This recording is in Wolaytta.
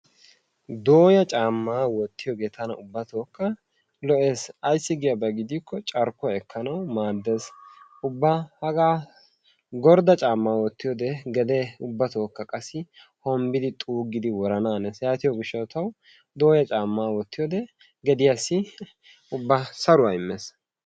Dooya caamma wottiyaageete tana ubbattokka lo''essi ayssi giyaaba gidikko carkkuwa ekkanawu maaddes, ubba hagaa gordda caamma wottiyoode gede ubbatokka hombbidi xuuggidi worananees. yaatiyo gishshatawu dooyya caammaa wottiyoode geddiyassi ubba saruwa immees.